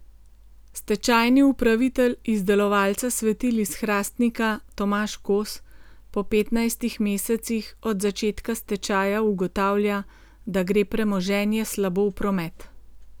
Stečajni upravitelj izdelovalca svetil iz Hrastnika Tomaž Kos po petnajstih mesecih od začetka stečaja ugotavlja, da gre premoženje slabo v promet.